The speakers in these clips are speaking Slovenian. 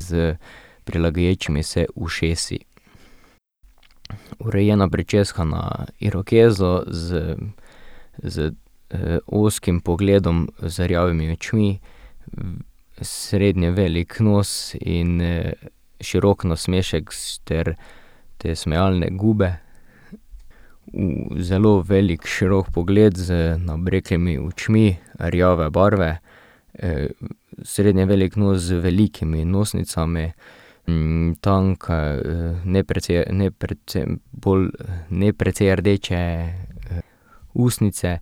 s prilegajočimi se ušesi. Urejena pričeska na irokezo z z, ozkim pogledom z rjavimi očmi, srednje velik nos in, širok nasmešek ter te smejalne gube. Zelo velik, širok pogled z nabreklimi očmi rjave barve, srednje velik nos z velikimi nosnicami, tanke, ne ne bolj, ne precej rdeče ustnice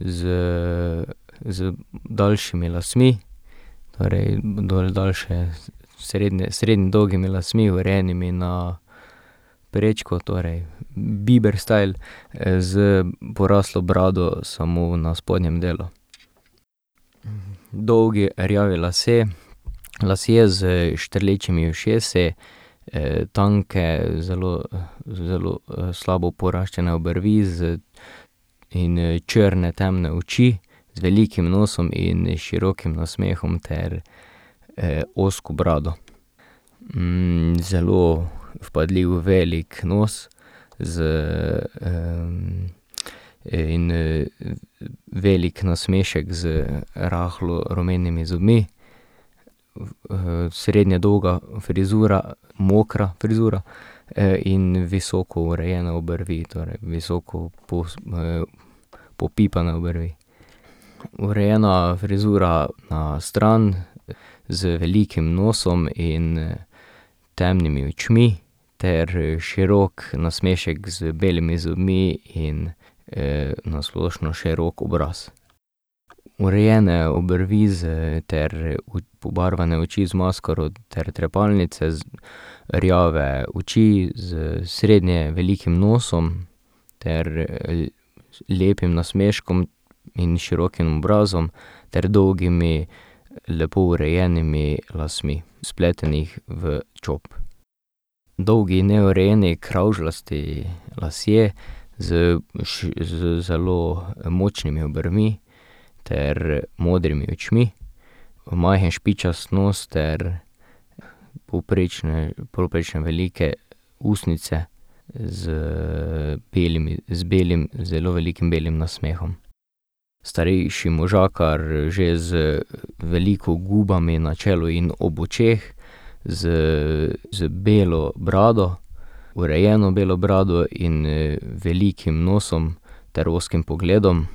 z, z daljšimi lasmi, torej daljše srednje dolgimi lasmi, urejenimi na prečko, torej Bieber style, s poraslo brado samo na spodnjem delu. Dolgi rjavi lasje, lasje s štrlečimi ušesi, tanke, zelo, zelo, slabo poraščene obrvi z, in, črne, temne oči z velikim nosom in širokim nasmehom ter, ozko brado. zelo vpadljiv velik nos z, in, veliko nasmešek z rahlo rumenimi zobmi, srednje dolga frizura, mokra frizura in visoko urejene obrvi, torej visoko popipane obrvi. Urejena frizura na stran, z velikim nosom in, temnimi očmi ter širok nasmešek z belimi zobmi in, na splošno širok obraz. Urejene obrvi z ter pobarvane oči z maskaro ter trepalnice z, rjave oči s srednje velikim nosom ter, lepim nasmeškom in širokim obrazom ter dolgimi, lepo urejenimi lasmi, spletenih v čop. Dolgi, neurejeni kravžljasti lasje z z zelo močnimi obrvmi ter modrimi očmi, majhen špičast nos ter povprečne, povprečno velike ustnice z belimi, z belim, zelo velikim belim nasmehom. Starejši možakar že z veliko gubami na čelu in ob očeh, z, z belo brado, urejeno belo brado in, velikim nosom ter ozkim pogledom.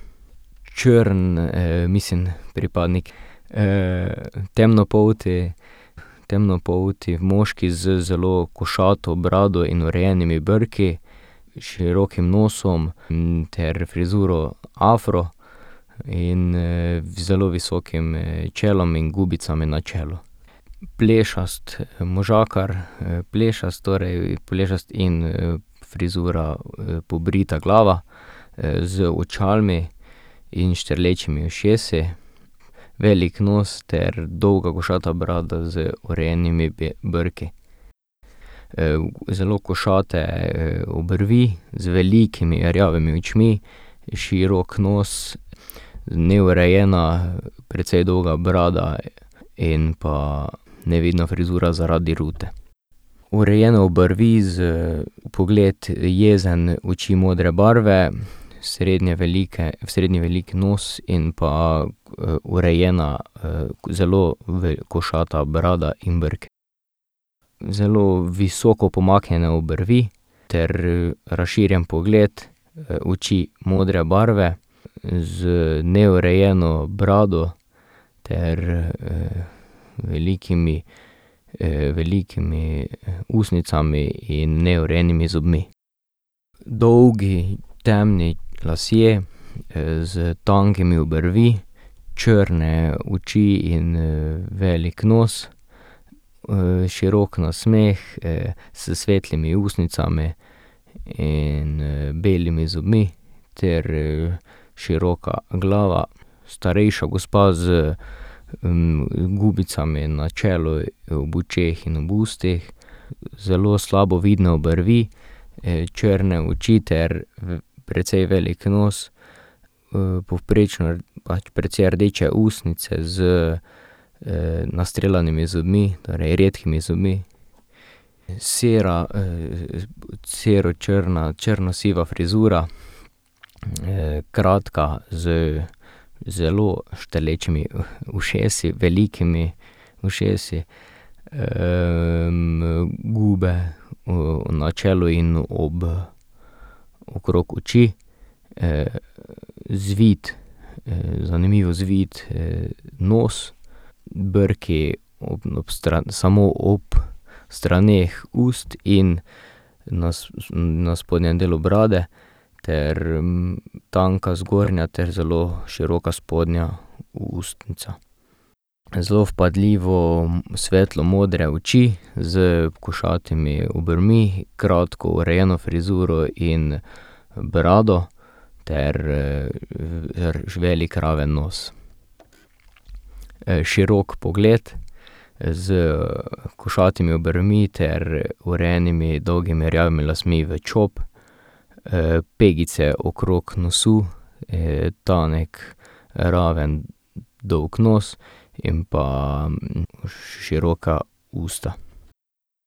Črn, mislim, pripadnik, temnopolti, temnopolti moški z zelo košato brado in urejenimi brki, širokim nosom, ter frizuro afro in, zelo visokim čelom in gubicami na čelu. Plešast možakar, plešast torej, plešast in frizura pobrita glava, z očali in štrlečimi ušesi, velik nos ter dolga košata brada z urejenimi brki. zelo košate obrvi z velikimi rjavimi očmi, širok nos, neurejena, precej dolga brada in pa nevidna frizura zaradi rute. Urejene obrvi pogled jezen, oči modre barve, srednje srednje velik nos in pa urejena, zelo košata brada in brki. Zelo visoko pomaknjene obrvi ter, razširjen pogled, oči modre barve, z neurejeno brado ter, velikimi, velikimi ustnicami in neurejenimi zobmi. Dolgi temni lasje, s tankimi obrvmi, črne oči in, velik nos, širok nasmeh s svetlimi ustnicami in, belimi zobmi ter, široka glava. Starejša gospa z, gubicami na čelu, očeh in ustih, zelo slabo vidne obrvi, črne oči ter precej velik nos, povprečna, pač precej rdeče ustnice z nastreljanimi zobmi, torej redkimi zobmi, sera, sero črna, črno siva frizura, kratka z zelo štrlečimi ušesi, velikimi ušesi. gube na čelu in ob, okrog oči, zvit, zanimivo zvit nos, brki ob samo ob straneh ust in na na spodnjem delu brade ter, tanka zgornja ter zelo široka spodnja ustnica. Zelo vpadljivo svetlo modre oči s košatimi obrvmi, kratko frizuro in urjeno brado ter, velik, raven nos. širok pogled s košatimi obrvmi ter urejenimi dolgimi rjavimi lasmi v čop, pegice okrog nosu, tanek, raven, dolg nos in pa široka usta.